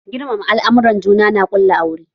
Girmama al'amuran juna na ƙula aure